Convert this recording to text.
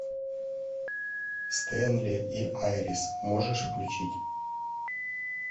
стэнли и айрис можешь включить